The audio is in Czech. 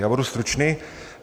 Já budu stručný.